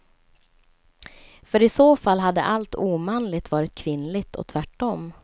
För i så fall hade allt omanligt varit kvinnligt och tvärtom.